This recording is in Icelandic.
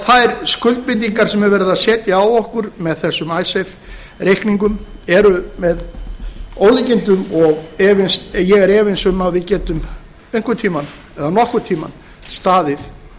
þær skuldbindingar sem er verið að setja á okkur með þessum icesave reikningum eru með ólíkindum og ég er efins um a við getum nokkurn tíma staðið